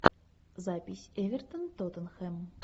запись эвертон тоттенхэм